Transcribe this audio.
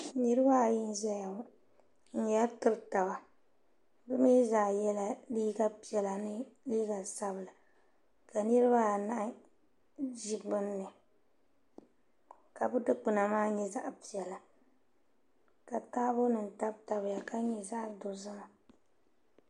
niriba ayi n-zaya ŋɔ n-yɛri tiri taba bɛ mi zaa yela liiga piɛla ni liiga sabila ka niriba anahi ʒi beni ni ka bɛ dukpuna maa nyɛ zaɣ' piɛla ka taabo nima tabi tabi ya ka nyɛ zaɣ' dozim.